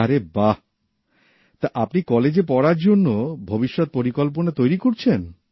আরে বাঃ তা আপনি কলেজে পড়ার জন্য ভবিষ্যত পরিকল্পনা তৈরি করছেন